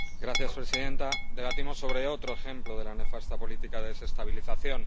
Señora presidenta, debatimos sobre otro ejemplo de la nefasta política de desestabilización.